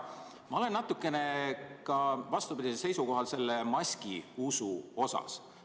Ma olen natukene ka vastupidisel seisukohal selle maskiusu osas.